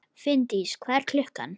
Finndís, hvað er klukkan?